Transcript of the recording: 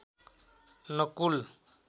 Nakul